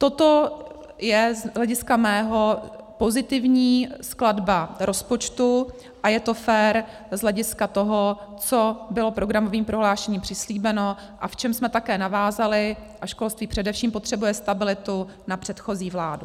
Toto je z hlediska mého pozitivní skladba rozpočtu a je to fér z hlediska toho, co bylo programovým prohlášením přislíbeno a v čem jsme také navázali - a školství především potřebuje stabilitu - na předchozí vládu.